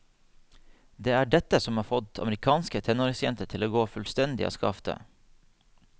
Det er dette som har fått amerikanske tenåringsjenter til å gå fullstendig av skaftet.